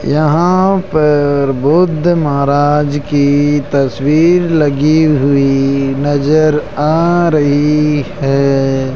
यहां पर बुद्ध महाराज की तस्वीर लगी हुई नजर आ रही है।